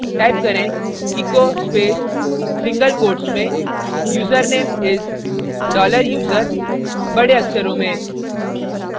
type करें echo space single quote में username is dollar user बड़े अक्षरों में